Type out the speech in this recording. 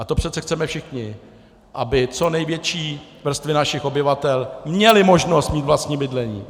A to přece chceme všichni, aby co největší vrstvy našich obyvatel měly možnost mít vlastní bydlení.